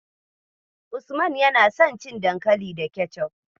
Usman yana son cin dankali da kecof.